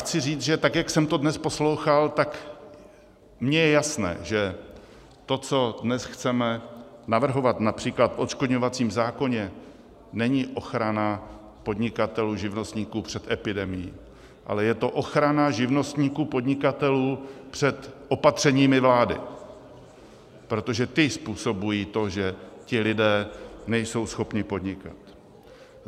Chci říct, že tak jak jsem to dnes poslouchal, tak mně je jasné, že to, co dnes chceme navrhovat například v odškodňovacím zákoně, není ochrana podnikatelů, živnostníků před epidemií, ale je to ochrana živnostníků, podnikatelů před opatřeními vlády, protože ta způsobují to, že ti lidé nejsou schopni podnikat.